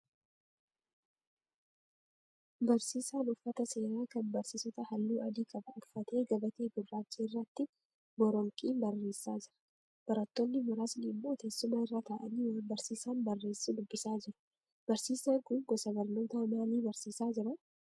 Barsiisaan uffata seeraa kan barsiisotaa halluu adii qabu uffatee gabatee gurraacha irratti boronqiin barreessaa jira. Barattoonni muraasni immoo tessuma irra ta'aanii waan barsiisaan barreessu dubbisaa jiru. Barsiisaan kun gosa barnoota maalii barsiisaa jira?